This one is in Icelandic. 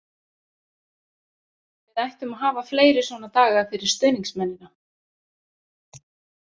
Við ættum að hafa fleiri svona daga fyrir stuðningsmennina.